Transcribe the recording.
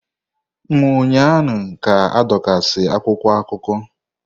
M ụnyahụ ka adọkasị akwụkwọ akụkọ!